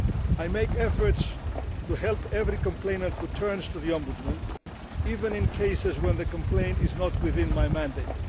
I try to help every complainant who turns to the Ombudsman, even in cases when the complaint is not within my mandate.